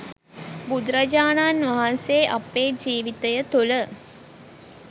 බුදුරජාණන් වහන්සේ අපේ ජීවිතය තුළ